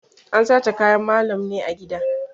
An sace kayan malam ne a gida.